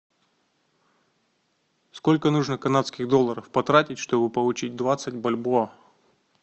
сколько нужно канадских долларов потратить чтобы получить двадцать бальбоа